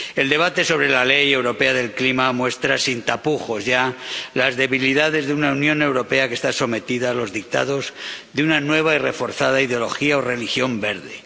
El debate sobre la Ley Europea del Clima muestra sin tapujos ya las debilidades de una Unión Europea que está sometida a los dictados de una nueva y reforzada ideología o religión verde.